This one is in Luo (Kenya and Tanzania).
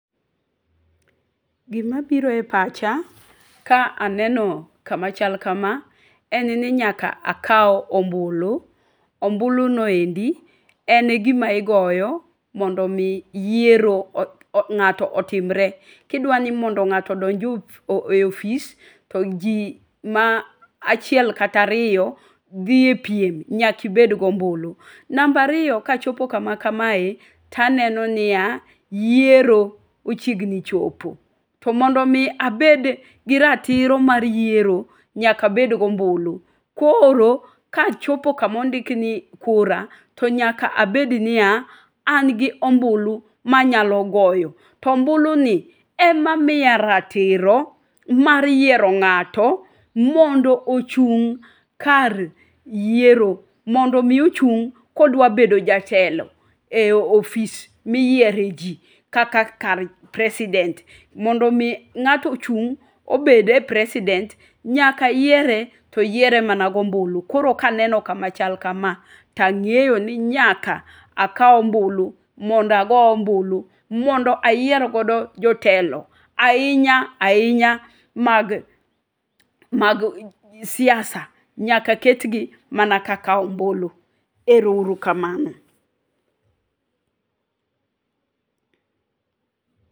Gima biro epacha ka eneno kama chal kama en ni nyaka akaw ombulu. Ombuluno endi en gima igoyo mondo mi yiero ng'ato otimre gidwani mondo ng'ato odonje e ofis to ji ma achiel kata ariyo dhie epim nyaka ibedgi ombulu. Namba ariyo kachopo kama kamae to aneno nia yiero ochiegni chopo. To mondo mi abedgi ratiro mar yiero nyaka abedgi ombulu. Koro kachopo kama ondiki niu kura nyaka abednia angi ombulu manyalo goyo. To ombuluni ema miya ratiro mar yiero ng'ato mondo ochung' kar yiero mondo mi ochung' kodwa bedo jatelo eofis miyiereji kaka kar president mondo mi ng'ato ochung' obede e president nyaka yiere to yiere mana gombulu. Koro kaneno kama chal kama to ang'eyoni nyaka akaw ombulu mondo ago ombulu mondo ayier godo jotelo ainya ainya mag mag siasa nyaka ketni mana ka kawo ombulu. Ero urukamano.